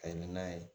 A ye n'a ye